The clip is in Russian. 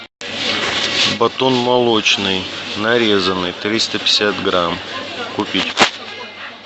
батон молочный нарезанный триста пятьдесят грамм купить